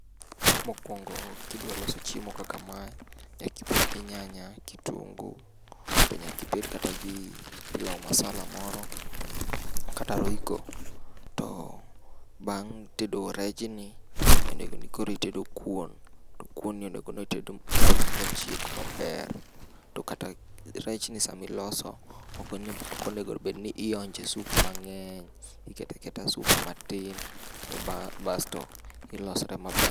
Mokuongo kidwa loso chiemo kakama, to nyaka ibed gi nyanya , kitunguu to nyaka ibed kata gi pilau masala moro kata roiko. To bang' tedo rejni, onego ni koro itedo kuon. Kuon ni onego bed ni itedo m,ochiek maber. To mkata rechni sama iloso ok onego bed ni ionje soup mang'eny. Iketo aketa soup matin to basto iloso.